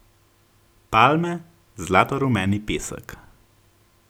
Palme, zlatorumeni pesek.